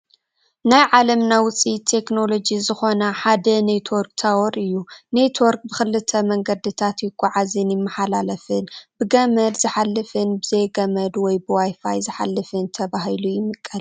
ናይ ዓለምና ውፅኢት ቴክኖሎጂ ዝኾነ ሓደ ኔትዎርክ ታዎር እዩ፡፡ ኔትዎርክ ብክልተ መንገድታት ይጓዓዝን ይመሓላለፍን፡፡ ብገመድ ዝሓፍን ብዘይገመድ ወይ ብwifi ዝመሓላለፍን ተባሂሉ ይምቀል፡፡